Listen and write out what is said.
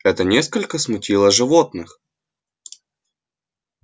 это несколько смутило животных